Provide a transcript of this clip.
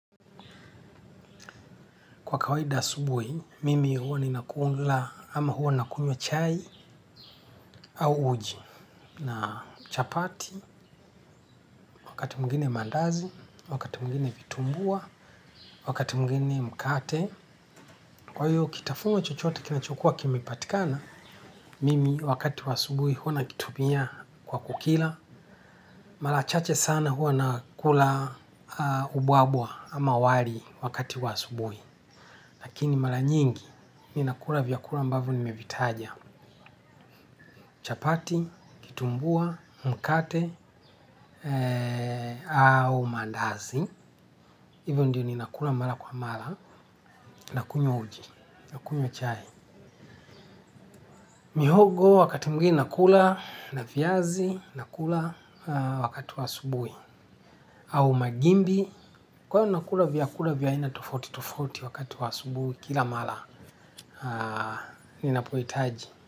Kwa kawaida asubuhi, mimi huwa ninakula ama huwa nakunywa chai au uji. Na chapati, wakati mwigine mandazi, wakati mwingine vitumbua, wakati mwingine mkate. Kwa hiyo, kitafunwa chochote kinachokua kimepatikana, mimi wakati wa asubuhi huwa nakitumia kwa kukila. Mara chache sana huwa nakula ubwabwa ama wali wakati wa asubuhi. Lakini mara nyingi, ninakula vyakula ambavyo nimevitaja. Chapati, kitumbua, mkate au mandazi hivyo ndio ninakula mara kwa mara. Nakunywa uji, nakunywa chai. Mihogo wakati mwingine nakula na viazi nakula wakati wa asubuhi au magimbi. Kwa hio nakula vyakula vya aina tofauti tofauti wakati wa asubuhi kila mara ninapohitaji.